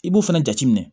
I b'o fɛnɛ jate minɛ